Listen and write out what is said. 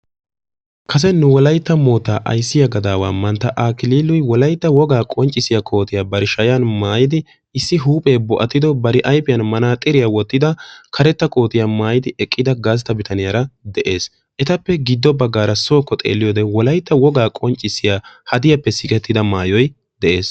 Kase nu wolaytta moitta ayssiya gafaawa manttaa Akliloy wolaytta wigaa qonccissiya koottiya bar shayyan maayyidi issi huuphe boo'attido bar ayfiyaan manaxiriyaa wottidi karetta koottiya maayyidi eqqida gastta bitanuyaara de'ees. Etappe giddo baggara sookko xeeliyoode wolaytta wogaa haddiyappe sikkettida maayyoy de'ees.